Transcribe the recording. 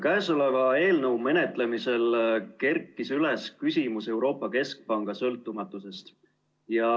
Käesoleva eelnõu menetlemisel kerkis üles küsimus Euroopa Keskpanga sõltumatusest.